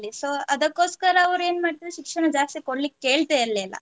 So ಅದಕ್ಕೋಸ್ಕರ ಅವರು ಏನು ಮಾಡ್ತಿದ್ರು ಶಿಕ್ಷಣ ಜಾಸ್ತಿ ಕೊಡ್ಲಿಕ್ಕೆ ಕೇಳ್ತಾ ಇರ್ಲಿಲ್ಲ.